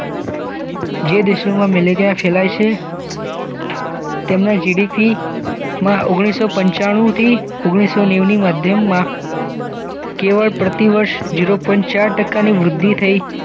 જે દેશો મેલે ગયા કહેવાય છે તેમણે જીડીપીમાં ઓગણીસૌ પંચાણુથી ઓગણીસૌ નેઊની માધ્યમમાં કેવળ પ્રતિ વર્ષ ઝીરો પોઈન્ટ ચાર ટકાની વૃદ્ધિ થઈ